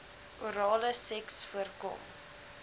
orale seks voorkom